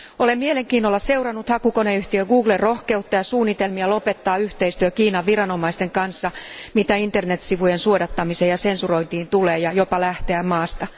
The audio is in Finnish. Olen mielenkiinnolla seurannut hakukoneyhtiö Googlen rohkeutta ja suunnitelmia lopettaa yhteistyö Kiinan viranomaisten kanssa, mitä internetsivujen suodattamiseen ja sensurointiin tulee, ja jopa lähteä maasta.